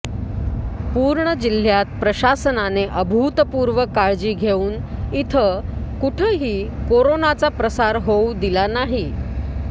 पूर्ण जिल्ह्यात प्रशासनाने अभूतपूर्व काळजी घेऊन इथं कुठंही कोरोनाचा प्रसार होऊ दिला नाही